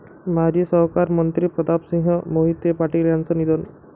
माजी सहकार मंत्री प्रतापसिंह मोहिते पाटील यांचं निधन